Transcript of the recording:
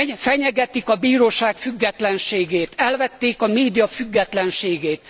Fenyegetik a bíróság függetlenségét, elvették a média függetlenségét.